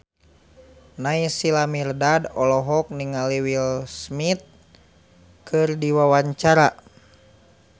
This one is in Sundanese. Naysila Mirdad olohok ningali Will Smith keur diwawancara